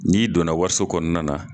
N'i donna waso kɔnɔna na